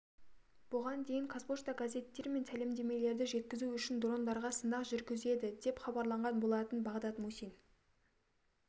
бұған дейін қазпошта газеттер мен сәлемдемелерді жеткізу үшін дрондарға сынақ жүргізеді деп хабарланған болатын бағдат мусин